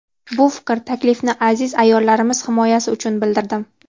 Bu fikr, taklifni aziz ayollarimiz himoyasi uchun bildirdim.